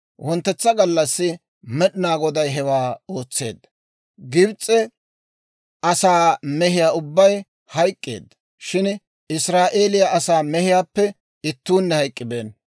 Wonttetsa gallassi Med'inaa Goday hewaa ootseedda. Gibs'e asaa mehiyaa ubbay hayk'k'eedda; shin Israa'eeliyaa asaa mehiyaappe ittuunne hayk'k'ibeenna.